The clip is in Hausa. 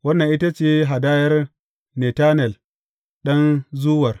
Wannan ita ce hadayar Netanel ɗan Zuwar.